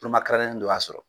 dɔ y'a sɔrɔ.